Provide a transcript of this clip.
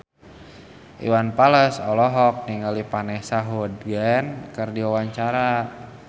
Iwan Fals olohok ningali Vanessa Hudgens keur diwawancara